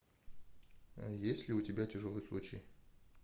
есть ли у тебя тяжелый случай